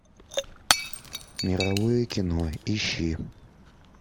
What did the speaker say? мировое кино ищи